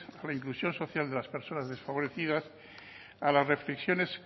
por la inclusión social de las personas desfavorecidas a las reflexiones